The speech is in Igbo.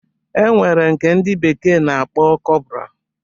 E nwere nke ndi bekee na-akpọ kọpra